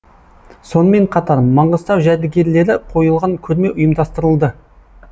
сонымен қатар маңғыстау жәдігерлері қойылған көрме ұйымдастырылды